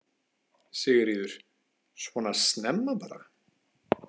Sigríður: Svona snemma bara?